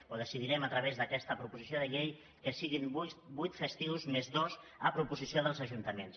o decidirem a través d’aquesta proposició de llei que siguin vuit festius més dos a proposició dels ajuntaments